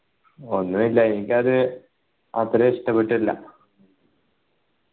ഒന്നു ഇല്ല എനിക്കത് അത്ര ഇഷ്ടപ്പെട്ടില്ല